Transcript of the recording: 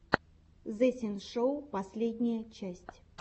зэ синшоу последняя часть